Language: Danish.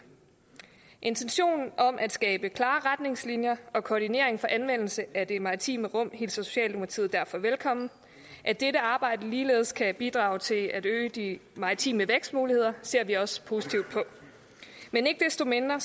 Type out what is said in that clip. intentionen om at skabe klare retningslinjer og koordinering for anvendelse af det maritime rum hilser socialdemokratiet derfor velkommen at dette arbejde ligeledes kan bidrage til at øge de maritime vækstmuligheder ser vi også positivt på men ikke desto mindre